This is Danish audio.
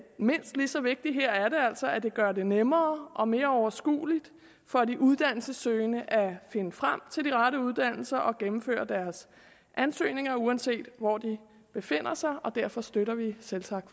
mindst lige så vigtigt her er det altså at det gør det nemmere og mere overskueligt for de uddannelsessøgende at finde frem til de rette uddannelser og gennemføre deres ansøgninger uanset hvor de befinder sig og derfor støtter vi selvsagt